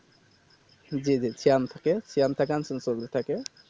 জি জি সিয়াম থাকে সিয়াম তা গান